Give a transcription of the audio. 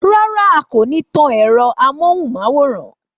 Rárá, a kò ní tan ẹ̀rọ ámóhúnmáwórán